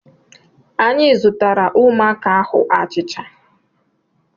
Anyị zụtaara ụmụaka ahụ achịcha.